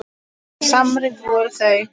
Svo samrýnd voru þau.